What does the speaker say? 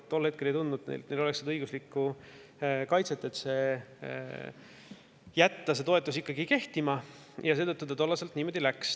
Nad tol hetkel ei tundnud, et neil oleks õiguslikku kaitset, et jätta see toetus ikkagi kehtima, ja seetõttu tollal niimoodi läks.